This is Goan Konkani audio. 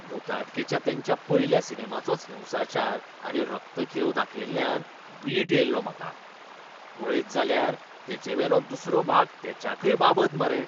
भुताटकेच्या तेंच्या पयल्या सिनेमाचोच हिंसाचार आनी रक्तखेव दाखयिल्ल्यान वीट येयल्लो म्हाका. पळयत जाल्यार तेचेवेलो दुसरो भाग तेच्याकय बाबत मरे.